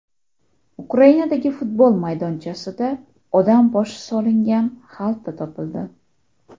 Ukrainadagi futbol maydonchasida odam boshi solingan xalta topildi.